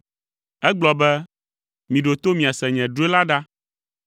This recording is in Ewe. Egblɔ be, “Miɖo to miase nye drɔ̃e la ɖa.